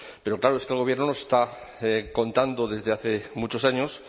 pero claro es que el gobierno nos está contando desde hace muchos años